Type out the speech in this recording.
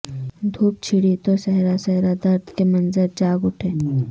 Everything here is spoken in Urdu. دھوپ چڑھی تو سحرا سحرا درد کے منظر جاگ اٹھے